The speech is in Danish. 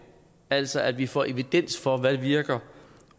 altså at vi får evidens for hvad der virker